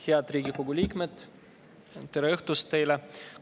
Head Riigikogu liikmed, tere õhtust teile!